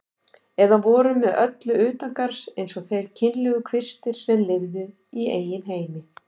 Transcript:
Eða voru með öllu utangarðs eins og þeir kynlegu kvistir sem lifðu í eigin heimi.